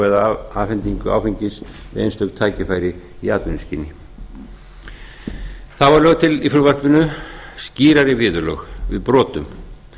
eða afhendingar áfengis við einstök tækifæri í atvinnuskyni þá eru lögð til í frumvarpinu skýrari viðurlög við brotum